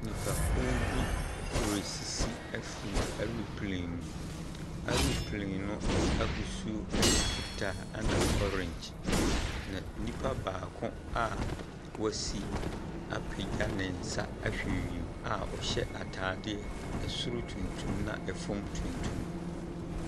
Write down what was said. Nipakuw bi resisi efi ɛroplen mu. Ɛroplen no ahosuo ɛyɛ fitaa ɛna ɔrengye. Na nipa baako a wesi apegya ne nsa ahwɛ wiem a ɔhyɛ ataadeɛ ɛsoro tuntum na ɛfɔm tuntum.